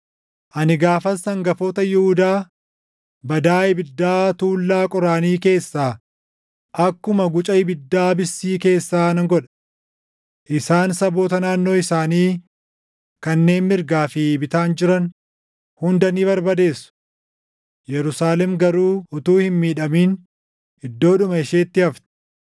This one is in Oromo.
“Ani gaafas hangafoota Yihuudaa badaa ibiddaa tuullaa qoraanii keessaa, akkuma guca ibiddaa bissii keessaa nan godha. Isaan saboota naannoo isaanii kanneen mirgaa fi bitaan jiran hunda ni barbadeessu; Yerusaalem garuu utuu hin miidhamin iddoodhuma isheetti hafti.